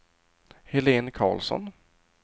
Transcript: Helén Karlsson